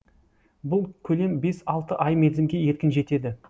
бұл көлем бес алты ай мерзімге еркін жетеді